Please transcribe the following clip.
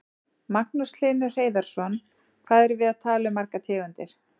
Magnús Hlynur Hreiðarsson: Hvað erum við að tala um margar tegundir?